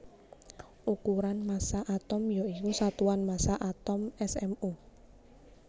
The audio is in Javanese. Ukuran massa atom ya iku satuan massa atom smu